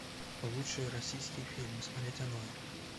лучшие российские фильмы смотреть онлайн